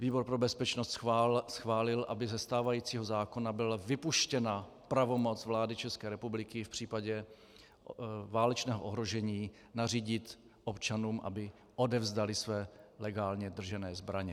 Výbor pro bezpečnost schválil, aby ze stávajícího zákona byla vypuštěna pravomoc vlády České republiky v případě válečného ohrožení nařídit občanům, aby odevzdali své legálně držené zbraně.